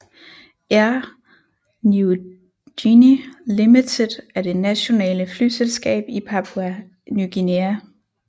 Air Niugini Limited er det nationale flyselskab i Papua Ny Guinea